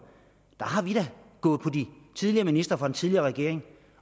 gået på de tidligere ministre fra den tidligere regering